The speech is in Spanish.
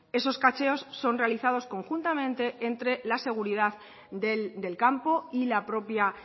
esos cacheos son realizados conjuntamente entre la seguridad del campo y la propia